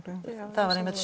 það var einmitt